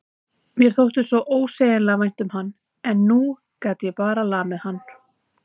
Mér þótti svo ósegjanlega vænt um hann en nú gat ég bara lamið hann.